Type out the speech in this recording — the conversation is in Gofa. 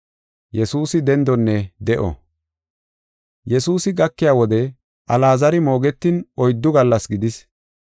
Yesuusi gakiya wode Alaazari moogetin oyddu gallas gidis.